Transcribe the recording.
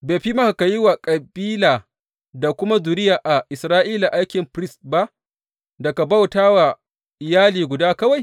Bai fi maka ka yi wa kabila da kuma zuriya a Isra’ila aikin firist ba, da ka bauta wa iyali guda kawai?